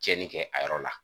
Cɛnni kɛ a yɔrɔ la.